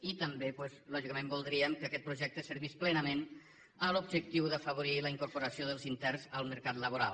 i també doncs lògicament voldríem que aquest projecte servís plenament l’objectiu d’afavorir la incorporació dels interns al mercat laboral